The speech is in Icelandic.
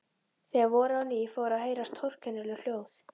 Þegar voraði á ný fóru að heyrast torkennileg hljóð.